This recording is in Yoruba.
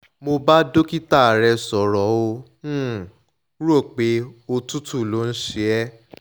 mo bá dókítà rẹ̀ sọ̀rọ̀ ó um rò pé òtútù ló ń ṣe um é